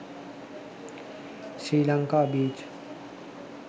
sri lanka beach